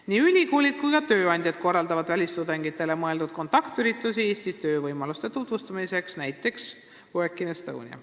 Nii ülikoolid kui ka tööandjad korraldavad välistudengitele mõeldud kontaktüritusi Eestis töövõimaluste tutvustamiseks, näiteks "Work in Estonia".